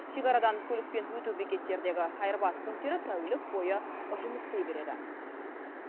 шекарадан көлікпен өту бекеттердегі айырбас пунктері тәулік бойы жұмыс істей береді